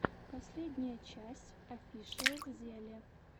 последняя часть офишиалзеле